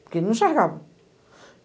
Porque ele não enxergava.